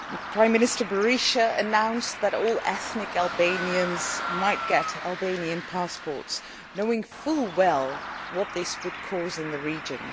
Prime Minister Berisha announced that all ethnic Albanians could get Albanian passports, knowing full well what this would cause in the region.